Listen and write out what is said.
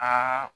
Aa